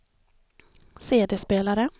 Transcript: CD-spelare